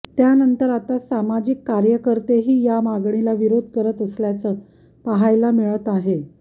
त्यानंतर आता सामाजिक कार्यकर्तेही या मागणीला विरोध करत असल्याचं पाहायला मिळत आहे